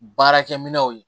Baarakɛ minɛw ye